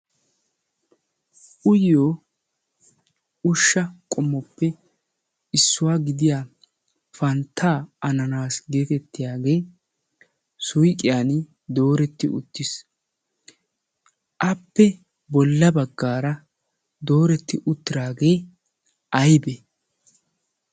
uyyo ushsha qomoppe issuwaa gidiya panttaa ananaasi geetettiyaagee suiqiyan dooretti uttiis appe bolla baggaara dooretti uttiraagee aibee